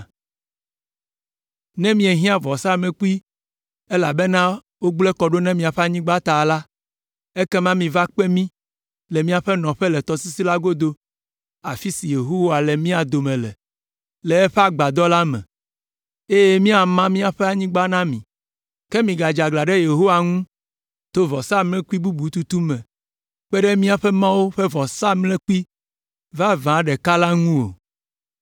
Ne miehiã vɔsamlekpui, elabena wogblẽ kɔ ɖo na miaƒe anyigba ta la, ekema miva kpe mí le míaƒe nɔƒe le tɔsisi la godo, afi si Yehowa le mía dome le, le eƒe Agbadɔ la me, eye míama míaƒe anyigba na mi. Ke migadze aglã ɖe Yehowa ŋu to vɔsamlekpui bubu tutu me kpe ɖe míaƒe Mawu ƒe vɔsamlekpui vavã ɖeka la ŋu o.